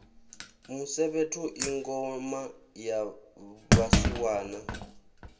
musevhetho i ngoma ya vhasiwana